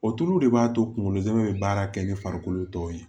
O tulu de b'a to kunkolo zɛmɛ bɛ baara kɛ ni farikolo tɔw ye